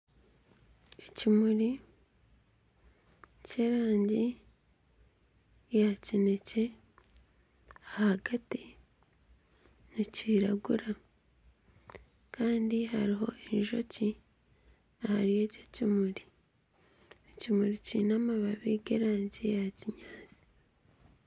Ekimuri ky'erangi ya kineekye ahagati nikiragura kandi hariho enjoki ahari eki ekimuri, ekimuri kiine amababi g'erangi ya kinyaatsi